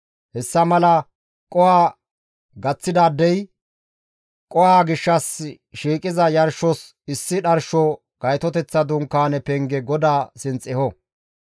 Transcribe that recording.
Hessa mala qoho gaththidaadey qoho gishshas shiiqiza yarshos issi dharsho gaytoteththa dunkaane penge GODAA sinth eho.